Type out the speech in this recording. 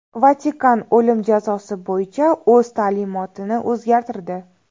Vatikan o‘lim jazosi bo‘yicha o‘z ta’limotini o‘zgartirdi.